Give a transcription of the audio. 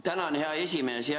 Tänan, hea esimees!